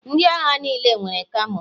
Ndị agha niile nwere kamo.